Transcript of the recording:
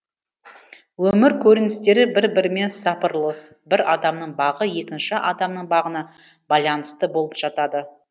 өмір көріністері бір бірімен сапырылыс бір адамның бағы екінші адамның бағына байланысты болып жатады